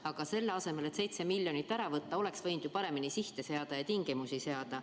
Aga selle asemel, et 7 miljonit eurot ära võtta, oleks võinud ju paremini sihte ja tingimusi seada.